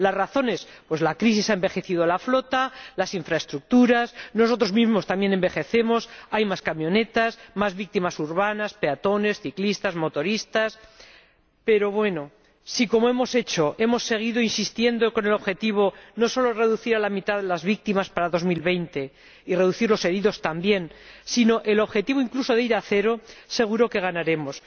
¿Las razones? La crisis ha envejecido la flota, las infraestructuras nosotros mismo también envejecemos hay más camionetas, más víctimas urbanas, peatones, ciclistas, motoristas, pero bueno Si, como hemos hecho, seguimos insistiendo en el objetivo no solo de reducir a la mitad las víctimas para 2020, y de reducir los heridos también, sino en el objetivo de llegar incluso a cero, seguro que ganaremos.